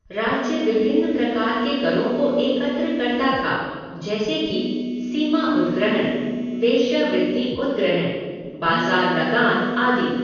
राज्य विभिन्न प्रकार के करों को एकत्र करता था, जैसे कि सीमा उद्ग्रहण, वेश्यावृत्ति उद्ग्रहण, बाज़ार लगान आदि।